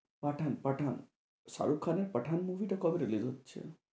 পাঠান পাঠান, শাহরুখ খানের পাঠান movie টা কবে release হচ্ছে?